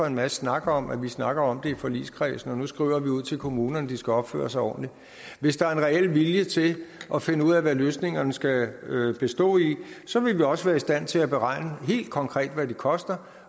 en masse snak om at vi snakker om det i forligskredsen og nu skriver ud til kommunerne de skal opføre sig ordentligt hvis der er en reel vilje til at finde ud af hvad løsningerne skal bestå i så vil vi også være i stand til at beregne helt konkret hvad det koster